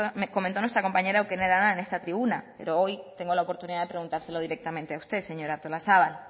comentó nuestra compañera eukene arana en esta tribuna pero hoy tengo la oportunidad de preguntárselo directamente a usted señora artolazabal